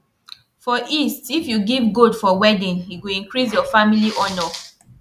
for east if you give goat for wedding e go increase your family honor